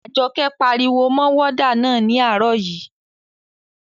Àjọkẹ́ pariwo mọ wọ́dà náà ní àárọ̀ yii